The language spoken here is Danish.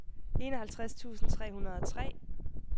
enoghalvtreds tusind tre hundrede og tre